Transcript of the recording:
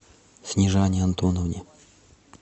снежане антоновне